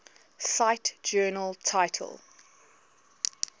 cite journal title